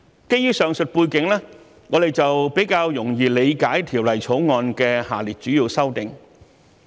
基於上述背景，我們比較容易理解《條例草案》的下列主要修訂。